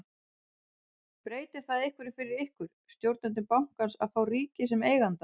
Breytir það einhverju fyrir ykkur, stjórnendur bankans að fá ríkið sem eiganda?